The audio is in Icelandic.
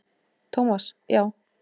Thomas, já.